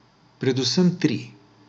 Predvsem tri.